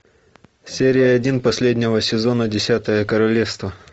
серия один последнего сезона десятое королевство